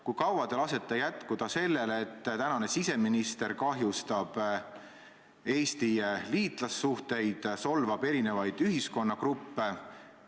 Kui kaua te lasete jätkuda sellel, et tänane siseminister kahjustab Eesti liitlassuhteid, solvab eri ühiskonnagruppe?